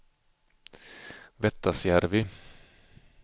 Vettasjärvi